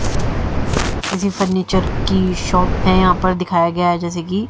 किसी फर्नीचर की शॉप है यहां पर दिखाया गया है जैसे की--